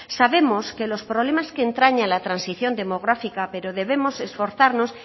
sabemos que los problemas que entrañan la transición demográfica pero debemos esforzarnos